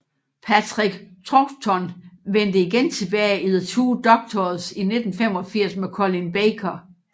Patrick Troughton vendte igen tilbage i The Two Doctors i 1985 med Colin Baker